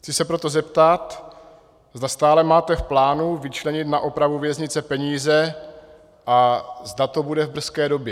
Chci se proto zeptat, zda stále máte v plánu vyčlenit na opravu věznice peníze a zda to bude v brzké době.